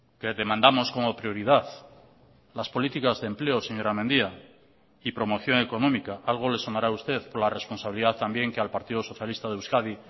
que demandamos como prioridad las políticas de empleo señora mendia y promoción económica algo le sonará a usted por la responsabilidad también que al partido socialista de euskadi